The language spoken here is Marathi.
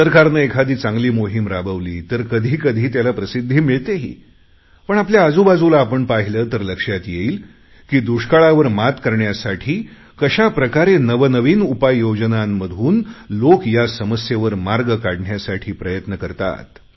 सरकारने एखादी चांगली मोहीम राबवली तर कधी कधी त्याला प्रसिद्धी मिळतेही पण आपल्या आजूबाजूला आपण पाहिले तर लक्षात येईल की दुष्काळावर मात करण्यासाठी कशाप्रकारे नवनवीन उपाययोजनांमधून लोक या समस्येवर मार्ग काढण्यासाठी प्रयत्न करतात